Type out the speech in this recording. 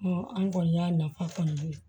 an kɔni y'a nafa kɔni dɔn